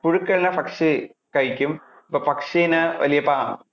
പുഴുക്കളെ പക്ഷി കഴിക്കും അപ്പൊ പക്ഷിനെ വലിയ പാമ്പ്